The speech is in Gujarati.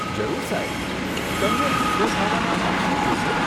જરૂર સાહેબ, તમને મુખ્ય ખાવાનામાં શું જોઈશે?